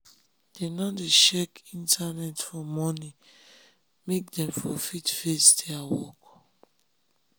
dem nor dey check internet for morning make dem for fit face their work